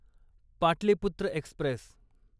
Pataliputra Express